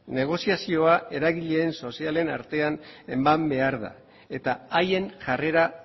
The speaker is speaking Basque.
negoziazioa eragile sozialen artean eman behar da eta haien jarrera